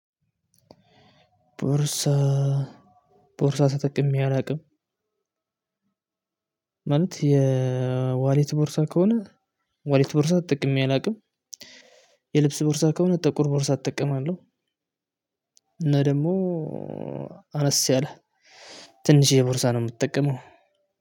ቦርሳ ቦርሳ ተጠቅሜ አላቅም። ማለት የዋሌት ቦርሳ ከሆነ ዋሌት ቦርሳ ተጠቅሜ አላቅም። የልብስ ቦርሳ ከሆነ ጠቁር ቦርሳ እጠቀማለሁ። እና ደግሞ አነስ ያለ ትንሽዬ ቦርሳ ነው የምትጠቀመው።